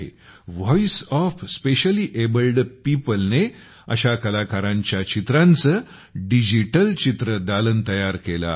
voice of specially abled people ने अशा कलाकारांच्या चित्रांचे डिजिटल चित्रदालन तयार केले आहे